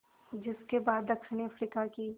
जिस के बाद दक्षिण अफ्रीका की